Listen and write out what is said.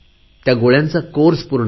त्या गोळ्यांचा कोर्स पूरा करा